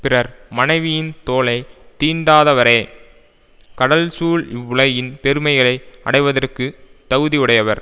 பிறர் மனைவியின் தோளை தீண்டாதவரே கடல் சூழ் இவ்வுலகின் பெருமைகளை அடைவதற்குத் தகுதியுடையவர்